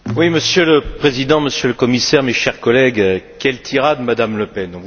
Monsieur le Président, Monsieur le Commissaire, chers collègues, quelle tirade, Madame Le Pen!